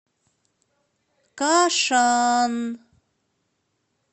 кашан